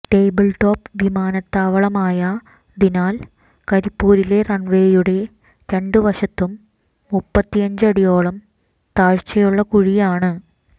tabletop വിമാനത്താവളമായതിനാൽ കരിപ്പൂരിലെ റൺവേയുടെ രണ്ട് വശത്തും മുപ്പത്തിയഞ്ച് അടിയോളം താഴ്ചയുള്ള കുഴിയാണ്